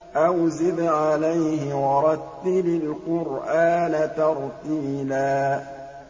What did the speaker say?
أَوْ زِدْ عَلَيْهِ وَرَتِّلِ الْقُرْآنَ تَرْتِيلًا